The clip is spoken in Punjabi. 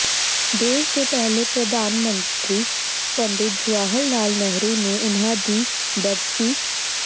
ਦੇਸ਼ ਦੇ ਪਹਿਲੇ ਪ੍ਰਧਾਨ ਮੰਤਰੀ ਪੰਡਿਤ ਜਵਾਹਰ ਲਾਲ ਨਹਿਰੂ ਨੂੰ ਉਨ੍ਹਾਂ ਦੀ ਬਰਸੀ